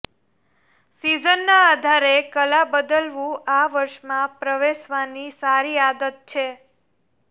સિઝનના આધારે કલા બદલવું આ વર્ષમાં પ્રવેશવાની સારી આદત છે